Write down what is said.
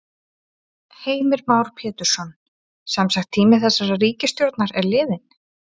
Heimir Már Pétursson: Semsagt tími þessarar ríkisstjórnar er liðinn?